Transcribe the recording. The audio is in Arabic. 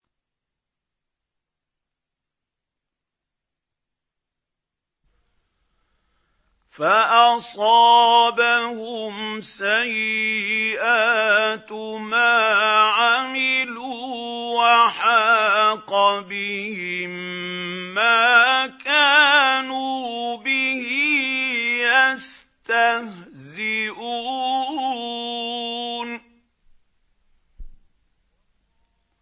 فَأَصَابَهُمْ سَيِّئَاتُ مَا عَمِلُوا وَحَاقَ بِهِم مَّا كَانُوا بِهِ يَسْتَهْزِئُونَ